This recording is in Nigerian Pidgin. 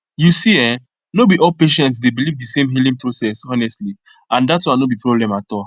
you see[um]no be all patients dey believe the same healing process honestly and dat one no be problem at all